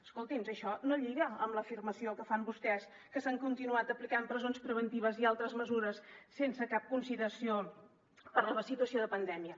escoltin això no lliga amb l’afirmació que fan vostès que s’han continuat aplicant presons preventives i altres mesures sense cap consideració per la situació de pandèmia